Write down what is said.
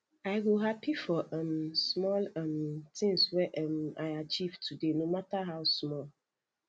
i go happy for um small um things wey um i achieve today no matter how small